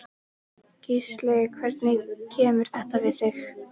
Gísli: Hvernig kemur þetta við þig?